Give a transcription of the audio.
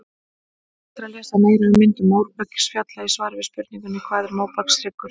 Hægt er að lesa meira um myndun móbergsfjalla í svari við spurningunni Hvað er móbergshryggur?